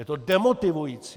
Je to demotivující!